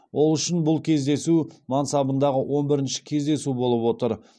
ол үшін бұл кездесу мансабындағы он бірінші кездесу болып отыр